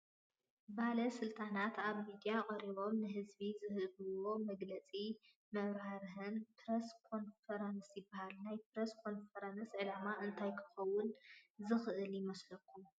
ባለ ስልጣናት ኣብ ሚድያ ቀሪቦም ንህዝቢ ዝህብዎ መግለፅን መብራህርህን ፕረስ ኮንፈረንስ ይበሃል፡፡ ናይ ፕረስ ኮንፈረንስ ዕላማ እንታይ ክኸውን ዝኽእል ይመስለኩም?